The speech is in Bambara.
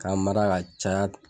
Ka mara ka caya